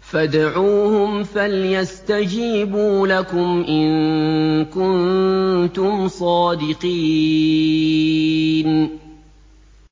فَادْعُوهُمْ فَلْيَسْتَجِيبُوا لَكُمْ إِن كُنتُمْ صَادِقِينَ